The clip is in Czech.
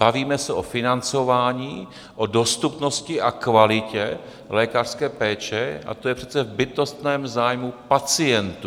Bavíme se o financování, o dostupnosti a kvalitě lékařské péče a to je přece v bytostném zájmu pacientů.